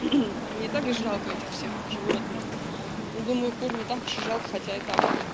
мне так жалко этих всех животных думаю кур там не так жалко хотя так